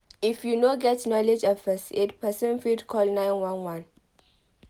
if you no get knowledge of first aid persin fit help call 911